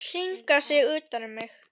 Hringa sig utan um mig.